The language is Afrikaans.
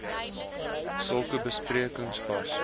sulke besprekings was